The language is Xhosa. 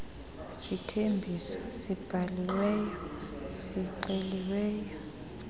sithembiso sibhaliweyo sixeliweyo